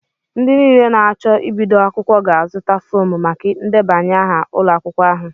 Ndị niile na-acho Ibido akwukwo ga-azụta fọọmu maka ndebanye aha ụlọ akwụkwọ ahu